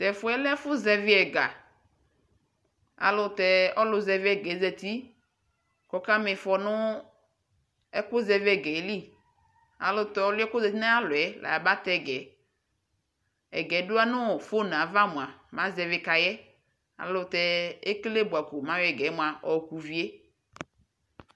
Tɛ fu yɛ lɛ ɛfu zɛvi ɛga Ɔlu zɛviga yɛ za uti ku ɔkamifɔ nu ɛkuzɛviga yɛ li Tɛ ɔlu yɛ za uti nu ayu alɔ yɛ la ba tɛ ga yɛ Ɛga yɛ du anu fon yɛ ava mua mɛ azɛvi ka yɛ Ekele bua ko mɛ ayɔ ɛga yɛ mua yɔ ka uvi yɛ